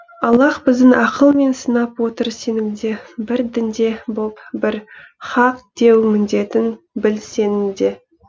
аллаһ біздің ақыл мен сынап отыр сенімде бір дінде боп бір хақ деу міндетің біл сенің де